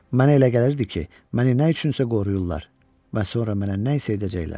Mənə elə gəlirdi ki, məni nə üçün isə qoruyurlar və sonra mənə nə isə edəcəklər.